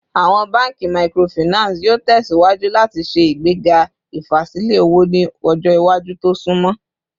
Awọn banki Microfinance yoo tẹsiwaju lati ṣe igbega ifasilẹ owo ni ọjọ iwaju to sunmọ